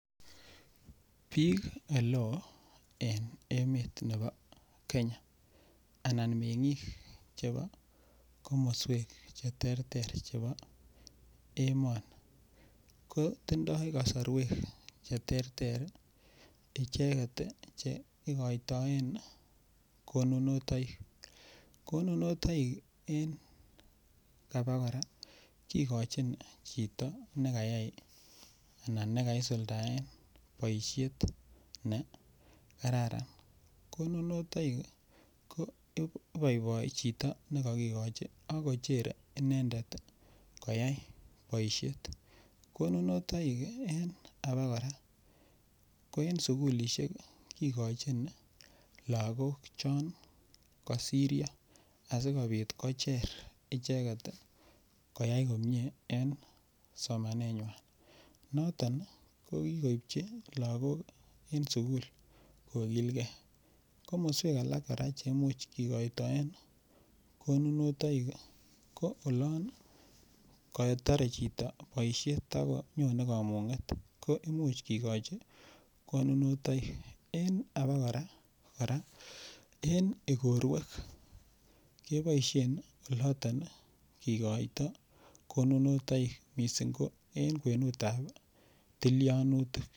Bik oleo en emetab nebo Kenya Anan mengik chebo komoswek Che terter chebo emoni ko tindoi kasarwek Che terter icheget Che igoitoen konunotoikik, konu en abakora kigochin chito ne kayai anan ne kakisuldaen boisiet ne kararan konunotoikik ko iboiboi chito ne kagigochi ak kochere inendet koyai boisiet konunotoikik en abakora ko en sukulisiek kigochin lagok chon kosiryo asikobit kocher icheget koyai komie en somanenywan noton ii ko kikoipchi lagok en sukulisiek kogilgei komoswek alak kora Che Imuch kokoitoen konunotoikik ko olon kotore chito boisiet ago nyone kamunget ko Imuch kigochi konunotoikik en abakora en igorwek keboisien kigoito konunotoikik mising ko en kwenut ab tilianutik